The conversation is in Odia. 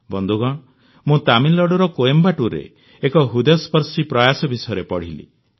ବନ୍ଧୁଗଣ ମୁଁ ତାମିଲନାଡୁର କୋଏମ୍ବାଟୁରରେ ଏକ ହୃଦୟସ୍ପର୍ଶୀ ପ୍ରୟାସ ବିଷୟରେ ପଢ଼ିଲି